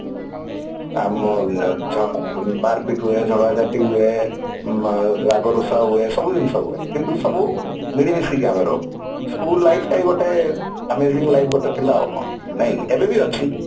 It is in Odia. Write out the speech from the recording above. ଆମ ମାର ପିଟି ହୁଏ ଝଗଡା ଝାଟି ହୁଏ ରାଗରୁଷା ହୁଏ ସବୁ ଜିନିଷ ହୁଏ କିନ୍ତୁ ସବୁ ମିଳି ମିସିକି ଆମେ ରହୁ school life ଟା ଗୋଟେ amazing life ଗୋଟେ ଥିଲା ଗୋଟେ ଆଉ କଣ ନାଇଁ କି ଏବେ ବି ଅଛି